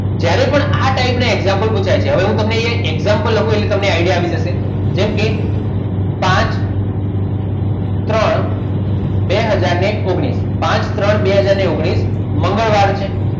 જ્યારે પણ આ type ના example પુછાય હવે હું તમને એક example આપું એટલે તમને idea આવી જશે જેમ કે પાંચ ત્રણ બે હાજર ને ઓગણીશ પાંચ ત્રણ બે હજાર ને ઓગણીશ મંગળવાર છે.